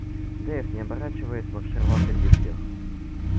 дейв не оборачиваясь маршировал впереди всех